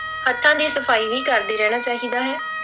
ਹੱਥਾਂ ਦੀ ਸਫ਼ਾਈ ਵੀ ਕਰਦੇ ਰਹਿਣਾ ਚਾਹੀਦਾ ਹੈ।